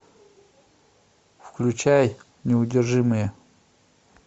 включай неудержимые